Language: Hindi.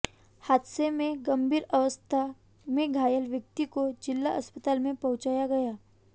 हादसे में गंभीर अवस्था में घायल व्यक्ति को जिला अस्पताल में पहुंचाया गया